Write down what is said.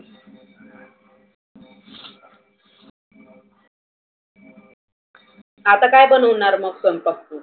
आता काय बनवणार मग स्वयंपाक तु?